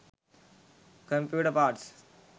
computer parts